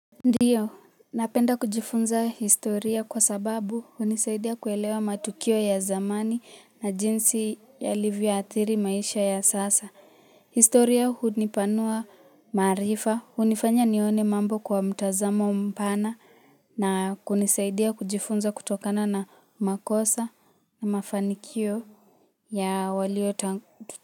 Ndiyo, napenda kujifunza historia kwa sababu hunisaidia kuelewa matukio ya zamani na jinsi yalivyo athiri maisha ya sasa historia hunipanua marifa, hunifanya nione mambo kwa mtazamo mpana na kunisaidia kujifunza kutokana na makosa na mafanikio ya walio tang tuta.